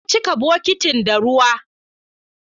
Na cika bokitin da ruwa